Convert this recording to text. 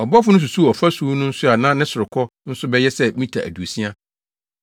Ɔbɔfo no susuw ɔfasu no nso a na ne sorokɔ nso bɛyɛ sɛ mita aduosia.